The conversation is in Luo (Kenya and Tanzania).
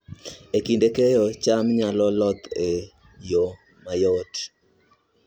E kinde keyo, cham nyalo loth e yo mayot